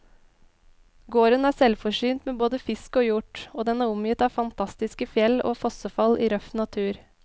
Gården er selvforsynt med både fisk og hjort, og den er omgitt av fantastiske fjell og fossefall i røff natur.